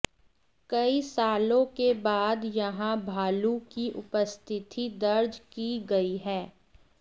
कई सालों के बाद यहां भालू की उपस्थिति दर्ज की गई है